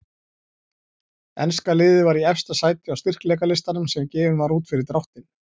Enska liðið var í efsta sæti á styrkleikalistanum sem gefinn var út fyrir dráttinn.